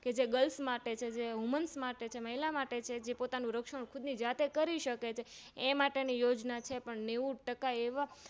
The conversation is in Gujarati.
જે Grils માટે છે Woman માટે છે મહિલા માટે છે જે પોતાનું રક્ષણખુદની જાતે કરી સકે છે એ માટેની યોજના છે પણ નેવું ટકા એવા